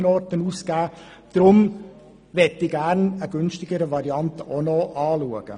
Deshalb möchte ich gerne auch noch eine günstigere Variante anschauen.